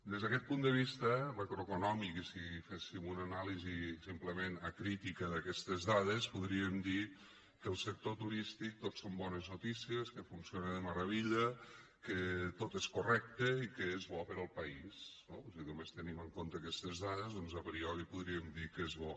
des d’aquest punt de vista macroeconòmic i si féssim una anàlisi simplement acrítica d’aquestes dades podríem dir que al sector turístic tot són bones noticies que funciona de meravella que tot és correcte i que és bo per al país no si només tenim en compte aquestes dades doncs a priori podríem dir que és bo